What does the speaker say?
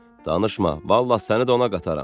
Danışma, vallah səni də ona qataram.